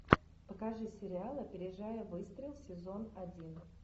покажи сериал опережая выстрел сезон один